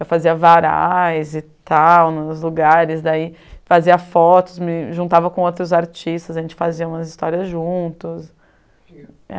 Eu fazia varais nos lugares daí, fazia fotos, me juntava com outros artistas, a gente fazia umas histórias juntos.